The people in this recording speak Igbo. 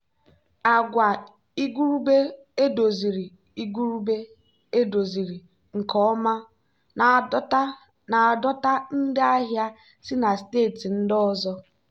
agwa igurube edoziziri igurube edoziziri nke ọma na-adọta ndị ahịa si na steeti ndị ọzọ.